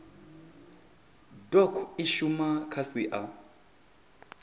doc i shuma kha sia